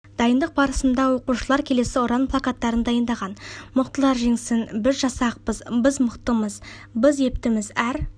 дайындық барысында оқушылар келесі ұран плакаттарын дайындаған мықтылар жеңсін біз жасақпыз біз мықтымыз біз ептіміз әр